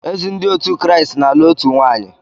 Ezi Ndị otu Kraịst na-alụ otu nwaanyị